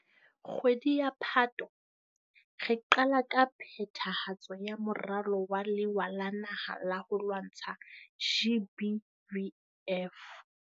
Kgwedi ya Phato, re qala ka phethahatso ya Moralo wa Lewa la Naha la ho lwantsha GBVF.